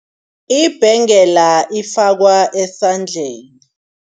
Ibhengela ifakwa esandleni.